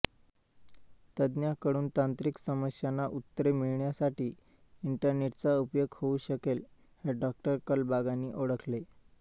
तज्ञांकडून तांत्रिक समस्यांना उत्तरे मिळण्यासाठी इंटरनेटचा उपयोग होऊ शकेल हे डॉ कलबागांनी ओळखले